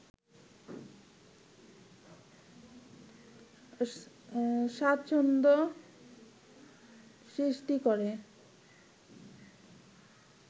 স্বাচ্ছন্দ্য সৃষ্টি করে